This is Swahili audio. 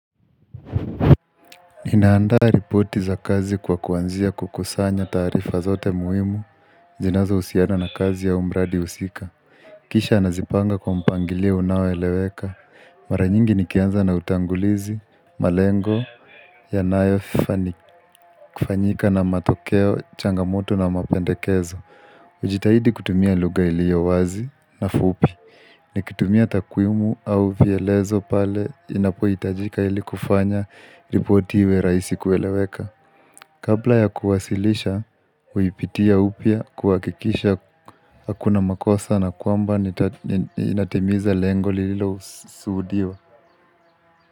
Ninandaa ripoti za kazi kwa kuanzia kukusanya taarifa zote muhimu zinazohusiana na kazi ya umradi husika Kisha nazipanga kwa mpangilio unaoeleweka Maranyingi nikianza na utangulizi, malengo Yanayofa ni kufanyika na matokeo, changamoto na mapendekezo ujitahidi kutumia lugha ilio wazi na fupi Nikitumia takwimu au vielezo pale inapoitajika ili kufanya ripoti iwe rahisi kueleweka Kabla ya kuwasilisha, huipitia upya kuhakikisha hakuna makosa na kwamba nita inatimiza lengo lilo suhudiwa.